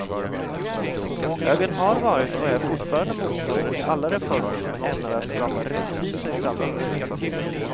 Högern har varit och är fortfarande motståndare till alla reformer som är ämnade att skapa rättvisa i samhället.